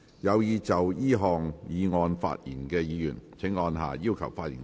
有意就這項議案發言的議員請按下"要求發言"按鈕。